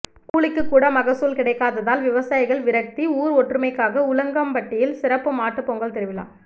கூலிக்கு கூட மகசூல் கிடைக்காததால் விவசாயிகள் விரக்தி ஊர் ஒற்றுமைக்காக உலகம்பட்டியில் சிறப்பு மாட்டு பொங்கல் திருவிழா